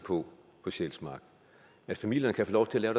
på på sjælsmark at familierne kan få lov til at